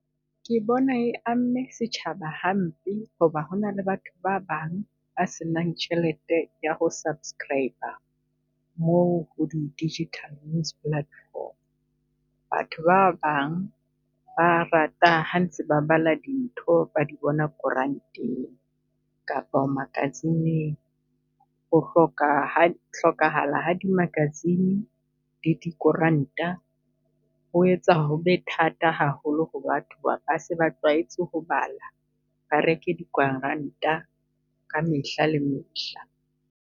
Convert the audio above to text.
Ke bona e amme setjhaba hampe, ho ba ho na le batho ba bang ba senang tjhelete ya ho subscribe-a moo ho di digital news platform. Batho ba bang ba rata ha ntse ba bala dintho di bona koranteng kapa o magazine-ing. O hloka ho hlokahala ha dimagazine le dikoranta ho etsa ho be thata haholo ho batho ho ba ba se ba tlwaetse ho bala. Ba reke dikoranta ka mehla le mehla.